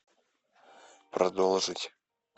продолжить